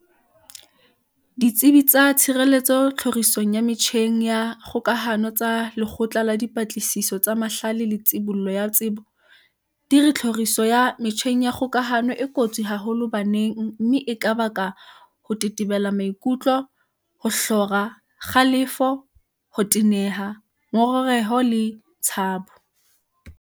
Ditsebi tsa tshireletso tlhori song ya metjheng ya kgoka hano tsa Lekgotla la Dipatli siso tsa Mahlale le Tshibollo ya Tsebo, CSIR, di re tlhoriso ya metjheng ya kgokahano e kotsi haholo baneng mme e ka baka ho tetebela maikutlo, ho hlora, kgalefo, ho teneha, ngongereho le tshabo.